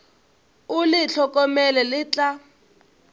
o le hlokomele le tla